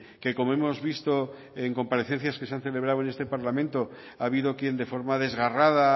que como hemos visto en comparecencias que se han celebrado en este parlamento ha habido quien de forma desgarrada